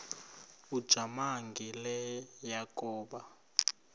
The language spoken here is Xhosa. ujamangi le yakoba